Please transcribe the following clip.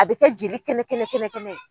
A bɛ kɛ jeli kɛnɛ kɛnɛ kɛnɛ kɛnɛ.